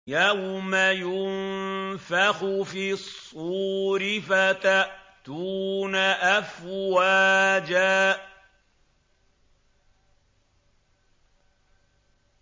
يَوْمَ يُنفَخُ فِي الصُّورِ فَتَأْتُونَ أَفْوَاجًا